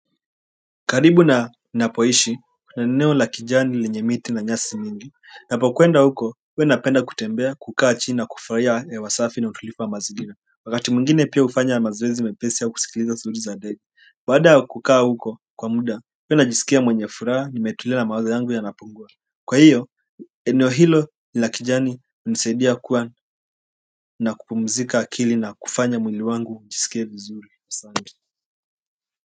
Karibu na ninapoishi kuna eneo la kijani lenye miti na nyasi mingi. Napokwenda huko huwa napenda kutembea kukaa chini na kufurahia hewa safi na utulivu wa mazingira wakati mwingine pia hufanya mazoezi mepesi ya kusikiliza sauti za ndege baada ya kukaa huko kwa muda huwa najisikia mwenye furaha nimetulia na mawazo yangu yanapungua kwa hiyo eneo hilo la kijani nisaidia kuwa na kupumzika akili na kufanya mwili wangu kujisikia vizuri asanti.